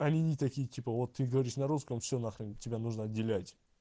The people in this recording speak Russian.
они не такие типа вот ты говоришь на русском все на хрен тебя нужно отделять